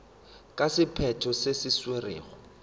ka sephetho se se tšerwego